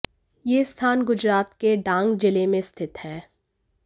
यह स्थान गुजरात के डांग जिले में स्थित हैं